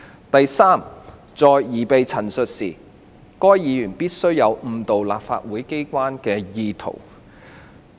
第三，在擬備陳述時，該議員必須有誤導立法機關的意圖。